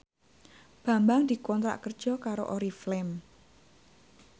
Bambang dikontrak kerja karo Oriflame